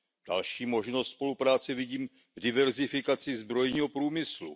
Další možnost spolupráce vidím v diverzifikaci zbrojního průmyslu.